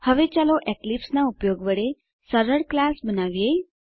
હવે ચાલો એક્લીપ્સ નાં ઉપયોગ વડે સરળ ક્લાસ બનાવીએ